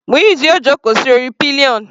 Muiz yóò jókòó sí orí pillion.